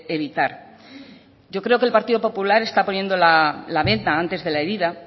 evitar yo creo que el partido popular está poniendo la venda antes que la herida